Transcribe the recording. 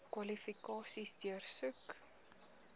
kwalifikasies deursoek